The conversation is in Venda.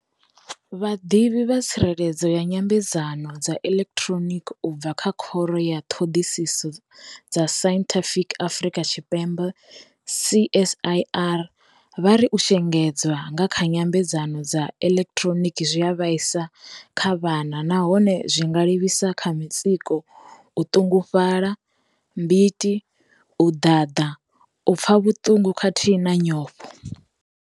Vhaḓivhi vha tsireledzo ya nyambedzano dza eḓekiḓhironiki u bva kha Khoro ya thoḓisiso dza Sainthifiki ya Afrika Tshipembe CSIR vha ri u shengedzwa nga kha nyambedzano dza eḓekiḓhironiki zwi a vhaisa kha vhana na hone zwi nga livhisa kha mutsiko, u ḓungufhala, mbiti, u ḓaḓa, u pfa vhutungu khathihi na nyofho.